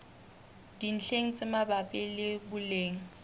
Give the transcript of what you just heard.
dintlheng tse mabapi le boleng